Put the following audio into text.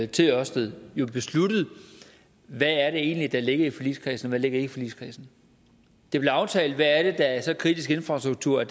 til ørsted besluttet hvad der egentlig ligger i forligskredsen og ligger i forligskredsen det blev aftalt hvad der er så kritisk infrastruktur at